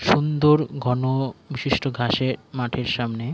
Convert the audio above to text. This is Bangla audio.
সুন্দর ঘন বিশিষ্ট ঘাসে মাঠের সামনে --